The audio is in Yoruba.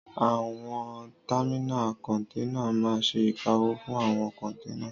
Àwọn támínà kọ́nténà máa n ṣe ìkáwọ́ fún àwọn kọ́nténà